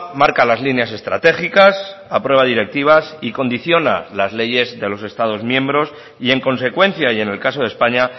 marca las líneas estratégicas aprueba directivas y condiciona las leyes de los estados miembros y en consecuencia y en el caso de españa